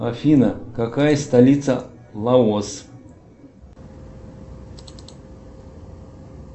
афина какая столица лаос